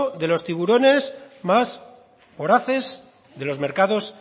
de los tiburones más voraces de los mercados